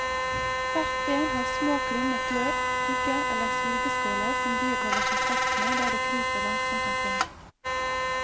Hvert ben har små, krumme klør, pigger eller sugeskåler som dyret holder seg fast med der det kryper langsomt omkring.